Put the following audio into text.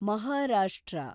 Maharashtra